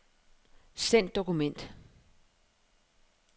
Send dokument.